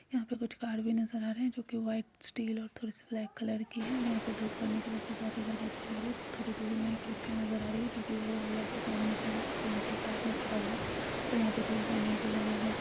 यहाँ पे कुछ कार भी नजर आ रहे हैं जो की व्हाइट स्टील और थोड़े से ब्लैक कलर के है और यहाँ पे धूप पड़ने की वजह से बहुत ही ज्यादा अच्छे लग रहे है थोड़े दूर में एक रिक्शा नजर आ रही हैं जो की येल्लो और ब्लैक के कॉम्बिनेशन में है उसके नीचे एक आदमी खड़ा हुआ है और यहाँ पर थोड़े बैनर भी लगे हुए हैं।